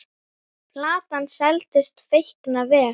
Platan seldist feikna vel.